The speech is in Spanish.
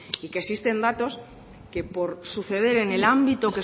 y que existen datos que por suceder en el ámbito